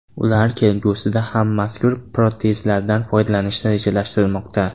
Ular kelgusida ham mazkur protezlardan foydalanishni rejalashtirmoqda.